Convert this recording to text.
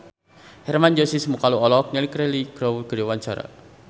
Hermann Josis Mokalu olohok ningali Cheryl Crow keur diwawancara